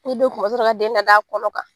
U de ka den lad'a kɔnɔ kan.